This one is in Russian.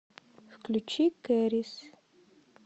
включи кэрис